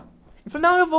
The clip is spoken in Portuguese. Ele falou, não, eu vou.